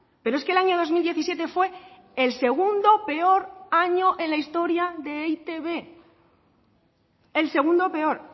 pero es que el año dos mil diecisiete fue el segundo peor año en la historia de e i te be el segundo peor